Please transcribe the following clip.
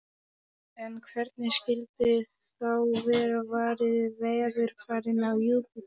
En hvernig skyldi þá vera varið veðurfarinu á Júpíter?